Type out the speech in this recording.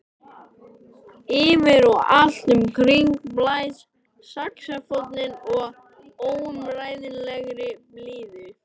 Yfir og allt um kring blæs saxófónninn af óumræðilegri blíðu.